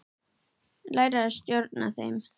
Læra að stjórna þeim.